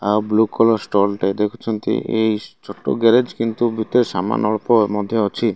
ଆପଣମାନେ blue colour stall ଟେ ଦେଖୁଛନ୍ତି ଏଇ ଛୋଟ ଗେରେଜ କିନ୍ତୁ ଭିତରେ ସାମାନ ଅଳ୍ପ ମଧ୍ୟ ଅଛି।